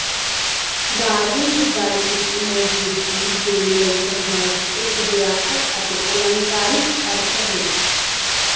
Darwin ਦੀ ਗੱਲ ਕੀਤੀ ਮੌਜੂਦਗੀ ਦੇ ਲਈ ਸੰਘਰਸ਼ ਇੱਕ ਵਿਆਪਕ ਅਤੇ ਅਲੰਕਾਰਿਕ ਅਰਥ ਵਿਚ